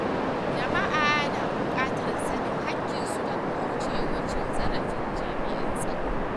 Jama’a na buƙatar sanin haƙƙinsu don kauce wa cin zarafin jami’an tsaro.